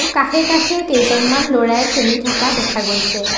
কাষে কাষে কেইজনমান ল'ৰাই খেলি থকা দেখা গৈছে।